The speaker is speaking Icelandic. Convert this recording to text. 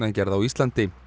gangnagerð á Íslandi